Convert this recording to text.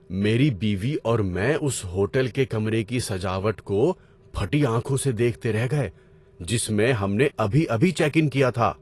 میری بیوی اور میں اس ہوٹل کے کمرے کی سجاوٹ کو پھٹی آنکھوں سے دیکھتے رہ گئے جس میں ہم نے ابھی ابھی چیک ان کیا تھا۔